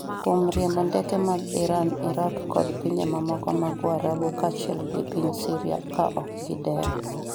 kuom riembo ndeke mag Iran, Iraq kod pinje mamoko mag warabu kaachiel gi piny Syria ka ok gidewo